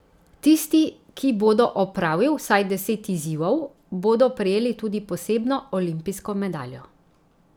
Tisti, ki bodo opravil vsaj deset izzivov, bodo prejeli tudi posebno olimpijsko medaljo.